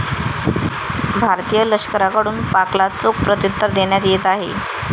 भारतीय लष्कराकडून पाकला चोख प्रत्युत्तर देण्यात येत आहे.